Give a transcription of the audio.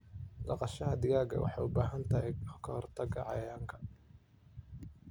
Dhaqashada digaaga waxay u baahan tahay ka hortagga cayayaanka.